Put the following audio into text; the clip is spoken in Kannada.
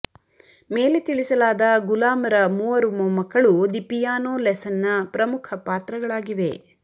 ಮೇಲೆ ತಿಳಿಸಲಾದ ಗುಲಾಮರ ಮೂವರು ಮೊಮ್ಮಕ್ಕಳು ದಿ ಪಿಯಾನೋ ಲೆಸನ್ನ ಪ್ರಮುಖ ಪಾತ್ರಗಳಾಗಿವೆ